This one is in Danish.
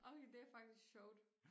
Okay det faktisk sjovt